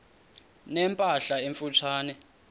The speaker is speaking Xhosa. ne mpahla emfutshane